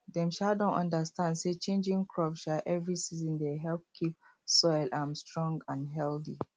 dem um don understand say changing crop um every season dey help keep soil um strong and healthy